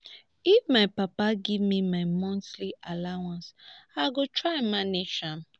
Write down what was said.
if my papa give me my monthly allowance i go try manage am